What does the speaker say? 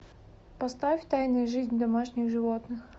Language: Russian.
поставь тайная жизнь домашних животных